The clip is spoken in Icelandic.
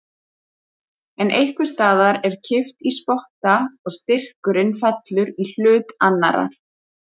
En einhvers staðar er kippt í spotta og styrkurinn fellur í hlut annarrar.